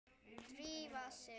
Drífa sig